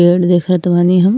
पेड़ देखत बानी हम।